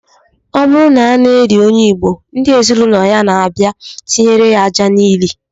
Ọ bụrụ na a na-eli onye Igbo, ndị ezinụlọ ya na-abia etinyere ya aja n'ili